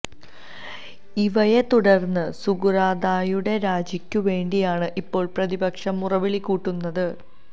ഇവയെ തുടർന്ന് സകുറാദായുടെ രാജിക്കു വേണ്ടിയാണ് ഇപ്പോൾ പ്രതിപക്ഷം മുറവിളി കൂട്ടുന്നത്